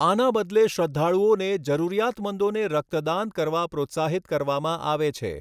આના બદલે શ્રદ્ધાળુઓેને જરૂરિયાતમંદોને રક્તદાન કરવા પ્રોત્સાહિત કરવામાં આવે છે.